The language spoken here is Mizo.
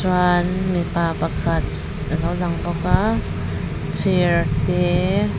chuan mipa pakhat alo lang bawk a chair te--